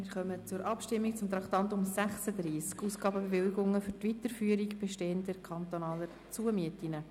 Wir kommen zur Abstimmung zu Traktandum 36: «Zu erneuernde Ausgabenbewilligungen für die Weiterführung bestehender, kantonaler Zumieten».